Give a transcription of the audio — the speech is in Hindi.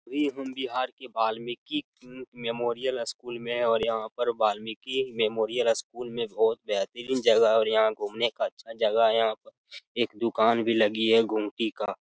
अभी हम बिहार ही वाल्मीकि मेमोरियल स्कूल में है और यहाँ पर वाल्मीकि मेमोरियल स्कूल में बहुत बेहतरीन जगह और यहाँ घुमने का अच्छा जगह यहाँ पर एक दोकान भी लगी है गुमटी का।